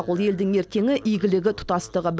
ол елдің ертеңі игілігі тұтастығы